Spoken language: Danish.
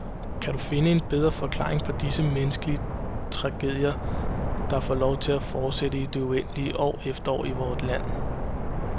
Kan du finde en bedre forklaring på disse menneskelige tragedier der får lov til at fortsætte i det uendelige, år efter år, i vort land?